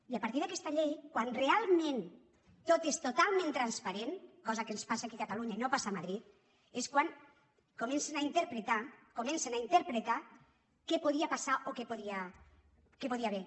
i a partir d’aquesta llei quan realment tot és totalment transparent cosa que ens passa aquí a catalunya i no passa a madrid és quan comencen a interpretar comencen a interpretar què podia passar o què hi podia haver